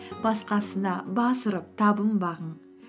басқасына бас ұрып табынбағын